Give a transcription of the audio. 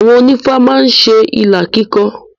Àwọn onífá má ń ṣe ìlà kíkọ.